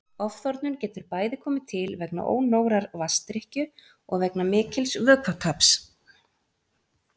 Ofþornun getur bæði komið til vegna ónógrar vatnsdrykkju og vegna mikils vökvataps.